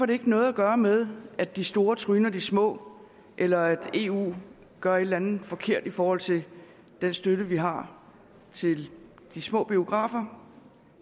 det ikke noget at gøre med at de store tryner de små eller at eu gør et eller andet forkert i forhold til den støtte vi har til de små biografer